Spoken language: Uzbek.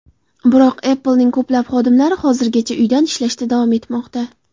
Biroq Apple’ning ko‘plab xodimlari hozirgacha uydan ishlashda davom etmoqda.